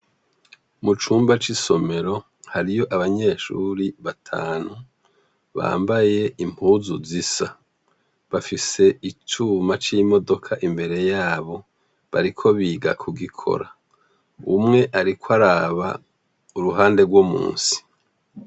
Mu cumba c'isomero hariyo abanyeshuri batanu bambaye impuzu zisa. Bafise icuma c'imodoka imbere yabo, bariko biga kugikora. Umwe ariko araba uruhande rwo musi.